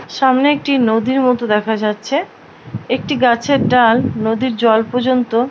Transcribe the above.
সামনে একটি নদীর মত দেখা যাচ্ছে । একটি গাছের ডাল নদীর জল পর্যন্ত।